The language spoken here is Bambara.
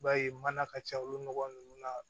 I b'a ye mana ka ca olu nɔgɔ ninnu na